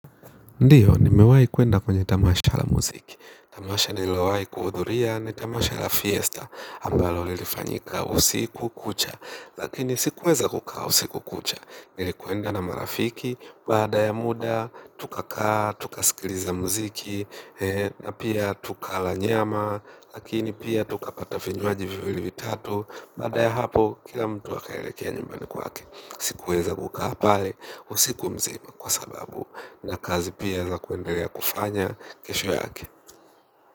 Ndiyo, nimewai kuenda kwenye tamasha la muziki. Tamasha nilowai kuhudhuria, ni tamasha la fiesta, ambalo lilifanyika usiku kucha. Lakini sikuweza kukaa usiku kucha. Nilikwenda na marafiki, baada ya muda, tukakaa, tuka sikiliza muziki, na pia tukala nyama, lakini pia tukapata vinywaji viwili vitatu, baada ya hapo, kila mtu wakaelekea nyumbani kwake. Sikuweza kukaa pale usiku mzima kwa sababu na kazi pia za kuendelea kufanya kesho yake.